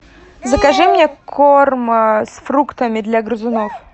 закажи мне корм с фруктами для грызунов